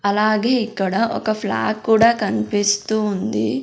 అలాగే ఇక్కడ ఒక ఫ్లాగ్ కూడా కన్పిస్తూ ఉంది.